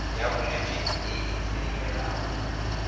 ya bolwetse e e kleimelwago